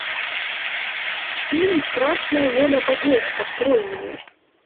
фильм страшная воля богов открой мне